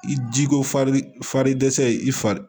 I jiko fari dɛsɛ i fa